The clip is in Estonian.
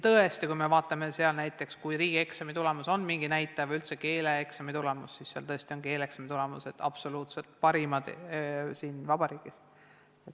Tõesti, kui me vaatame seal näiteks riigieksami tulemusi või on mingeid näitajaid, siis seal tõesti on keeleeksami tulemused riigi parimad.